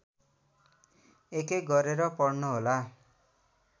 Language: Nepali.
एकएक गरेर पढ्नुहोला